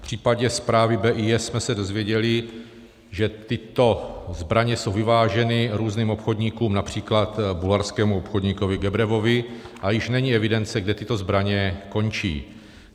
V případě zprávy BIS jsme se dozvěděli, že tyto zbraně jsou vyváženy různým obchodníkům, například bulharskému obchodníkovi Gebrevovi, a již není evidence, kde tyto zbraně končí.